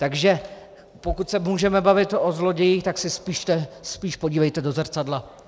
Takže pokud se můžeme bavit o zlodějích, tak se spíš podívejte do zrcadla.